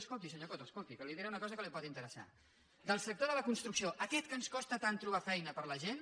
escolti senyor coto escolti que li diré una cosa que li pot interessar del sector de la construcció aquest en què ens costa tant trobar feina per a la gent